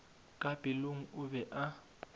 ka pelong o be a